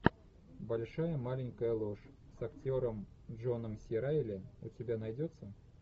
большая маленькая ложь с актером джоном си райли у тебя найдется